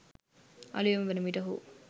අලූයම වනවිට ඔහු